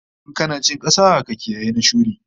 In kana cin kasa, ka kiyayi na shuri